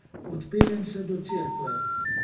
Odpeljem se do cerkve.